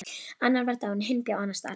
Annar var dáinn, hinn bjó annars staðar.